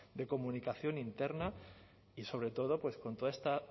de comunicación interna y sobre todo pues con toda esta